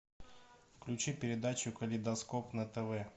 включи передачу калейдоскоп на тв